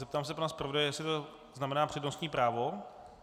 Zeptám se pana zpravodaje, jestli to znamená přednostní právo.